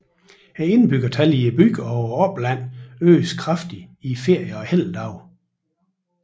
Indbyggertallet i byen og oplandet øges kraftigt i ferier og helligdage